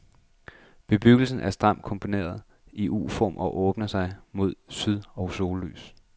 Bebyggelsen er stramt komponeret i uform og åbner sig mod syd og sollys.